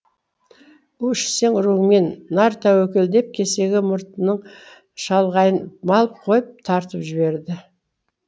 у ішсең руыңмен нар тәуекел деп кесеге мұртының шалғайын малып қойып тартып жіберді